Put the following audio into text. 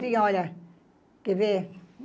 Eu tinha, olha... Quer ver?